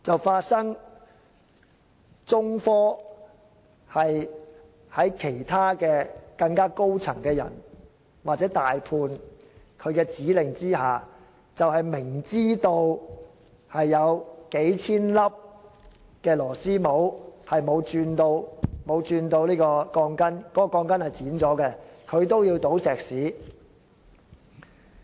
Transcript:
此時，中科其他高層或大判便發出指令，要求在明知有數千粒螺絲帽並未鑽上鋼筋和鋼筋被剪短的情況下鋪上石屎。